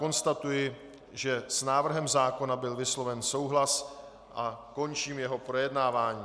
Konstatuji, že s návrhem zákona byl vysloven souhlas, a končím jeho projednávání.